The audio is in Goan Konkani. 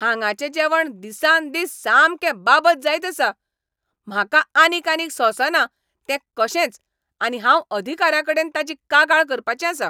हांगाचें जेवण दिसान दीस सामकें बाबत जायत आसा. म्हाका आनीक आनीक सोंसना तें कशेंच आनी हांव अधिकाऱ्यांकडेन ताची कागाळ करपाचें आसां.